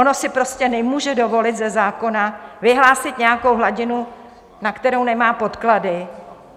Ono si prostě nemůže dovolit ze zákona vyhlásit nějakou hladinu, na kterou nemá podklady.